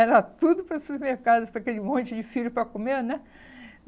Era tudo para o supermercado, para aquele monte de filho para comer né.